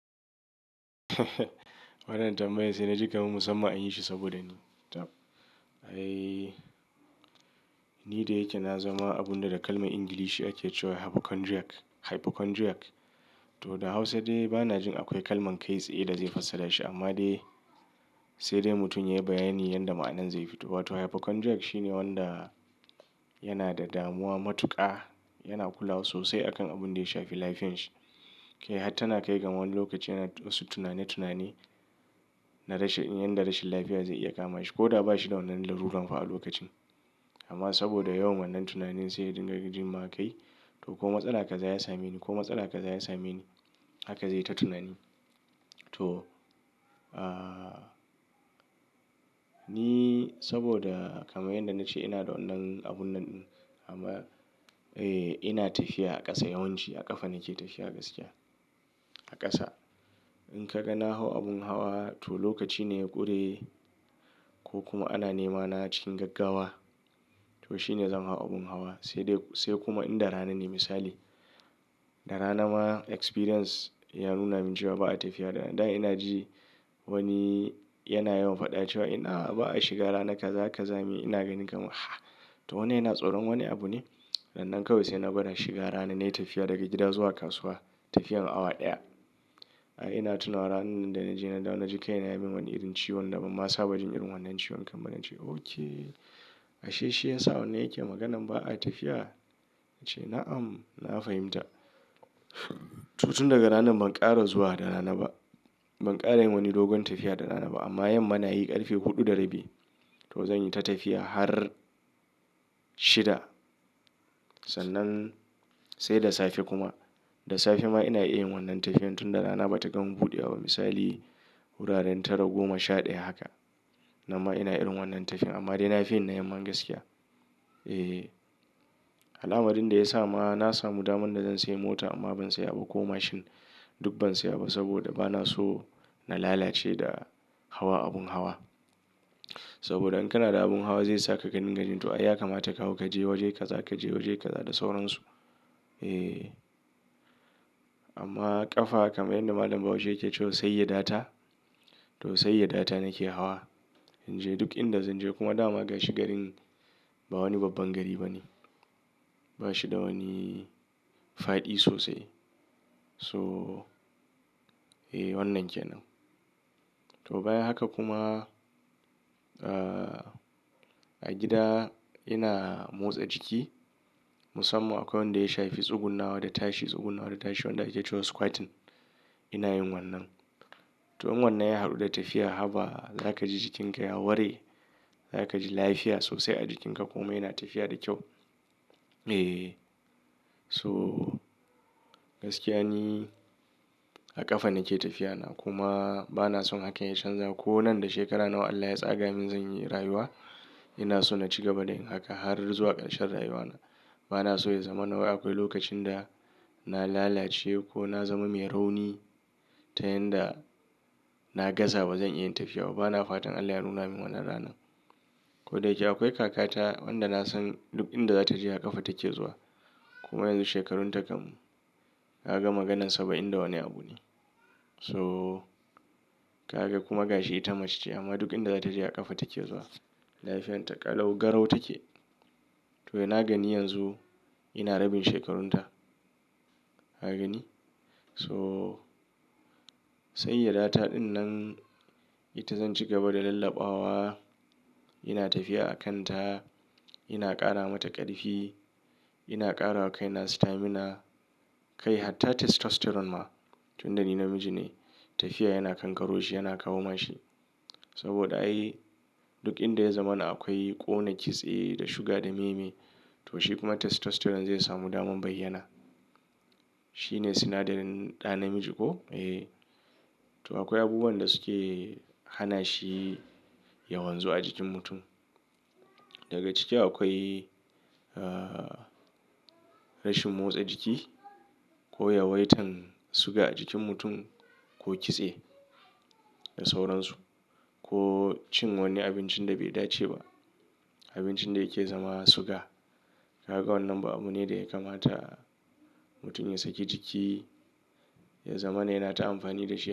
Wannan tambayar sai na ji kam musamman anyi shi saboda ni. Tab. Ai, ni da yake na zama abunda da kalman Ingilishi ake cewa hypochondriac. To da Hausa dai bana jin akwai kalman kai tsaye da zai fassara shi amma dai sai dai mutum ya yi bayani yanda ma'anan zai fito. Wato hypochondriac shine wanda yana da damuwa matuƙa, yana kula sosai akan abun da ya shafi lafiyan shi. Kai har tana kai ga wani lokaci yana wasu tunani tunani na rashin, yanda rashin lafiya zai iya kama shi ko da ba shi da wannan larurar fa'a lokacin. Amma saboda yawan wannan tunanin sai ya dinga jin ma kai to ko matsala kaza ya same ni ko matsala kaza ya same ni haka zai ta tunani. To, ah, ni saboda kamar yanda na ce ina da wannan abun nan ɗin amma, eh ina tafiya a ƙasa yawanci a ƙafa nake tafiya gaskiya. A ƙasa. In ka ga na hau abun hawa to lokaci ne ya ƙure ko kuma ana nema na cikin gaggawa. To shine zan hau abin hawa, sai kuma in da rana ne misali. Da rana ma experience ya nuna mun cewa ba, a tafiya da rana, da ina ji wani yana yawan faɗa cewa inah ba'a shiga rana kaza-kaza me ni ina ganin kaman ha'ah, to wannan yana tsoron wani abu ne? Rannan kawai sai na gwada shiga rana na yi tafiya daga gida zuwa kasuwa tafiyar awa ɗaya. Ai ina tunawa ranan nan da na je na dawo na ji kai na ya min wani irin ciwon da ban ma saba jin irin wannan ciwon kan ba na ce okay ashe shi yasa wannan yake maganan ba a tafiya? Na ce na'am na fahimta. Tun daga ranan ban ƙara zuwa da rana ba. Ban ƙara yin wani dogon tafiya da rana ba amma yamma nayi ƙarfe huɗu da rabi to zan yi ta tafiya har shida. Sannan sai da safe kuma. Da safe ma ina iya yin wannan tafiyan tun da rana ba ta gama buɗewa ba misali wuraren tara goma sha ɗaya haka. Nan ma ina irin wannan tafiyan amma dai na fi yin na yamman gaskiya. Eh. Al'amarin da ya sa ma na samu daman da zan sayi mota amma ban saya ba ko mashin duk ban saya ba saboda bana so na lalace da hawa abun hawa. Saboda in kana da abun hawa zai saka ka dinga jin to ai ya kamata ka hau kaje waje kaza kaje waje kaza da sauransu. Eh. Amma ƙafa kamar yanda malam Bahaushe yake cewa sayyada ta. To sai ya data nake hawa. In je duk inda zan je kuma dama gashi garin ba wani babban gari bane. Ba shi da wani faɗi sosai. So, eh wannan ke nan. To bayan haka kuma, ah, a gida ina motsa jiki musamman akwai wanda ya shafi tsugunnawa da tashi tsugunnawa da tashi wanda ake cewa squatting. Ina yin wannan. To in wannan ya haɗu da tafiya, haba! Zaka ji jikinka ya ware. Zaka ji lafiya sosai a jikinka kuma yana tafiya da kyau. Eh. So gaskiya ni a ƙafa nake tafiyana kuma bana son hakan ya canza ko nan da shekara nawa Allah ya tsaga min zan yi rayuwa ina so na ci gaba da yin haka har zuwa ƙarshen rayuwana. Bana so ya zamana wai akwai lokacin da na lalace, ko na zama mai rauni, ta yanda na gaza bazan iya yin tafiya ba, bana fatan Allah ya nuna mun wannan ranan. Ko da yake akwai kakata wanda nasan duk inda za ta je a ƙafa take zuwa. Kuma yanzu shekarunta kam kaga maganan saba'in da wani abu ne. So kaga kuma gashi ita mace ce amma duk inda za ta je a ƙafa take zuwa. Lafiyarta ƙalau garau take. To ina gani yanzu ina rabin shekarunta. Kagani? So sayyadata ɗin nan ita zan ci gaba da lallabawa. Ina tafiya a kanta. Ina ƙara mata ƙarfi. Ina ƙarawa kai na stamina. Kai hatta testosterone ma. Tunda ni namiji ne tafiya yana kankaro shi yana kawo ma shi. Saboda ai duk inda ya zama na akwai ƙona kitse da suga da me me. To shi kuma testosterone zai samu daman bayyana shi ne sinadarin ɗa namiji ko? To akwai abubuwan da suke hana shi yawan zuwa a jikin mutum. Daga ciki akwai, ah, rashin motsa jiki ko yawaitan suga a jikin mutum ko kitse da sauransu. Ko cin wani abincin da bai dace ba. Abincin da yake zama suga. Kaga wannan ba abu ne da ya kamata mutum ya saki jiki, ya zamana yana ta amfani da shi.